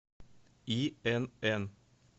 инн